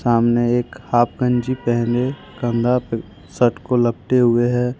सामने एक हाफ गंजी पहने कंधा पे शर्ट को लपटे हुए हैं।